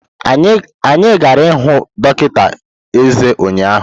Anyị gara ịhụ dọkịta eze ụnyahụ.